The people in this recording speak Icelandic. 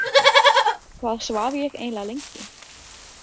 Hvað svaf ég eiginlega lengi?